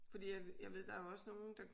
Fordi at jeg ved der er jo også nogle der